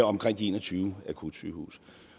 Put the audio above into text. omkring de en og tyve akutsygehuse